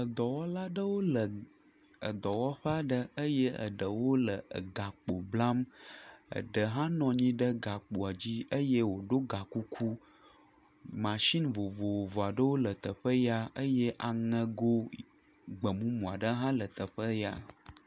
Dɔwɔla aɖewo le dɔwɔƒe aɖe eye ɖewo le gakpo blam ɖe ha nɔ anyi ɖe gakpoa dzi eye woɖɔ gakuku masini vovovo aɖewo le teƒea eye aŋego gbemumu aɖe ha le teƒea